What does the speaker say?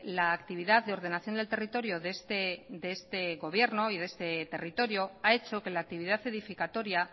la actividad de ordenación del territorio de este gobierno y de este territorio ha hecho que la actividad edificatoria